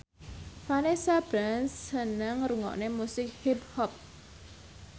Vanessa Branch seneng ngrungokne musik hip hop